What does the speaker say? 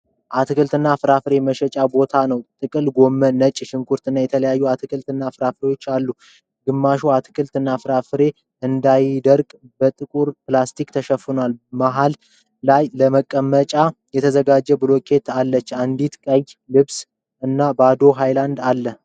አትክልት እና ፍራፍሬ መሸጫ ቦታ ነው። ጥቅል ጎመን፣ ነጭ ሽንኩርት እና የተለያዩ አትክልት እና ፍራፍሬዎች አሉ። ግማሾች አትክልት እና ፍራፍሬዎች እንዳይደርቁ በጥቁር ላስቲክ ተሸፍነዋል። መሐል ላይ ለመቀመጫነት የተዘጋጀች ብሎኬት አለች። እንዲሁም ቀይ ልብስ እና ባዶ ሀይላንድ አለ።